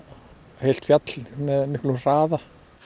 heilt fjall með miklum hraða